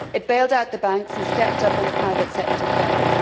It bailed out the banks and stepped up when the private sector failed.